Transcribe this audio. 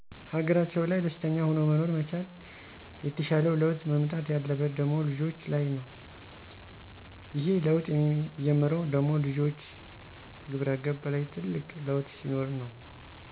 ሀገራቸው ላይ ደስተኛ ሁኖ መኖር መቻል። የተሻለው ለውጥ መምጣት ያለበት ደሞ ልጆች ላይ ነው። ይሄ ለውጥ የሚጀምረው ደሞ ልጆች ግብረገብ ላይ ትልቅ ለውጥ ሲኖር ነው።